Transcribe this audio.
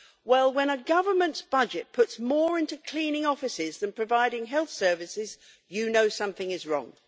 Well, when a government's budget puts more into cleaning offices than providing health services, you know something is wrong.